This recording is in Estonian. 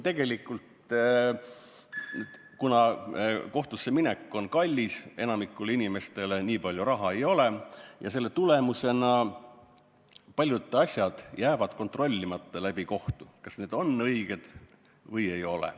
Tegelikult, kuna kohtusse minek on enamikule inimestele kallis, nii palju raha ei ole, siis jäävad paljud asjad kontrollimata läbi kohtu, kas need on õiged või ei ole.